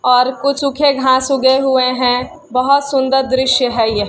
और कुछ सुखे घास उगे हुए है बहुत सुंदर दृश्य है यह।